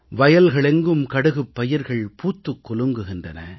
வயல்கள் எங்கும் கடுகுப் பயிர்கள் பூத்துக் குலுங்குகின்றன